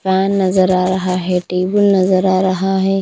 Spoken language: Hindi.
पेन नज़र आ रहा हैटेबल नज़र आ रहा है।